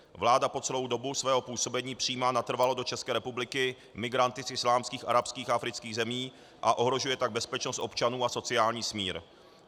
Vláda po celou dobu svého působení přijímá natrvalo do České republiky migranty z islámských, arabských a afrických zemí, a ohrožuje tak bezpečnost občanů a sociální smír.